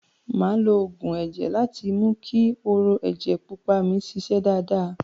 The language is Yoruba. Màá lo oògùn ẹ̀jẹ̀ láti mú ki hóró ẹjẹ pupa mi ṣiṣẹ́ dáadáa.